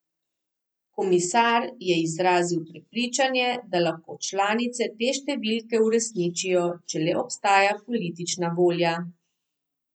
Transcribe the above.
Komisar je izrazil prepričanje, da lahko članice te številke uresničijo, če le obstaja politična volja.